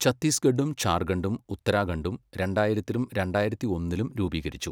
ഛത്തീസ്ഗഡും ജാർഖണ്ഡും ഉത്തരാഖണ്ഡും രണ്ടായിരത്തിലും രണ്ടായിരത്തി ഒന്നിലും രൂപീകരിച്ചു.